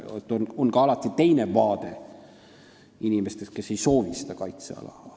Alati on ka teine vaade, on inimesed, kes kaitseala ei soovi.